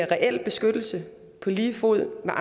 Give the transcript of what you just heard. reel beskyttelse på lige fod med